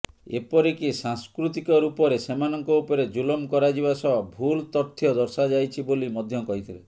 ଏପରିକି ସାଂସ୍କୃତିକ ରୂପରେ ସେମାନଙ୍କ ଉପରେ ଜୁଲମ କରାଯିବା ସହ ଭୁଲ ତଥ୍ୟ ଦର୍ଶାଯାଇଛି ବୋଲି ମଧ୍ୟ କହିଥିଲେ